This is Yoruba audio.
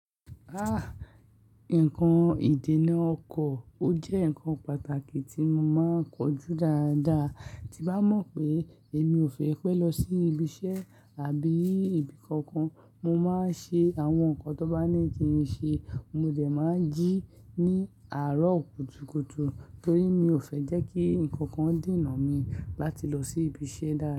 Ah! Nǹkan ìdènà ọkọ̀ ó jẹ́ ǹkan pàtàkì tí mo máa ń kojú dáadáa. Ti n bá mọ̀ pé èmi ò fẹ́ pé lọ sí ibi iṣẹ́ àbí ibi kankan, mo máa ń ṣe àwọn nǹkan tó bá ní kí n ṣe. Mo dẹ̀ máa ń jí ní àárọ̀ kùtùkùtù torí mi ò fẹ́ jẹ́ kí nǹkan kan dìnnà mi láti lọ sí ibi iṣẹ́ dáa.